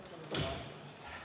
Istungi lõpp kell 13.00.